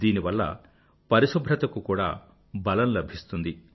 దీనివల్ల పరిశుభ్రత కు కూడా బలం లభిస్తుంది